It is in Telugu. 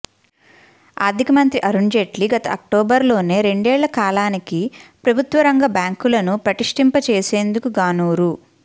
ఆర్ధిక మంత్రి అరుణ్జైట్లీ గత అక్టోబరులోనే రెండేళ్లకాలానికి ప్రభుత్వరంగ బ్యాంకులను పటిష్టంచేసేందుకుగాను రూ